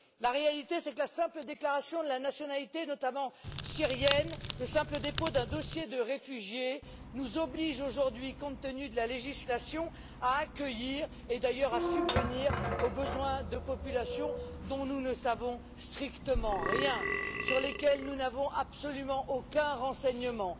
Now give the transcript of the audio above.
La réalité, c'est que la simple déclaration de la nationalité, notamment syrienne, le simple dépôt d'un dossier de réfugié, nous obligent aujourd'hui, compte tenu de la législation, à accueillir et, d'ailleurs, à subvenir aux besoins de populations dont nous ne savons strictement rien, sur lesquelles nous n'avons absolument aucun renseignement.